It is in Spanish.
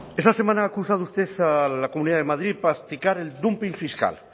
esta semana ha acusado usted a la comunidad de madrid practicar el dumping fiscal